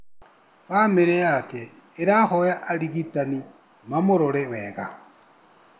Bamĩrĩ yake ĩrahoya arigitani mamũrore wega